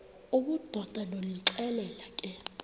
obudoda ndonixelela ke